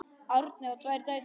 Árni á tvær dætur.